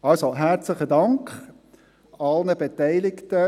Also: Herzlichen Dank an alle Beteiligten.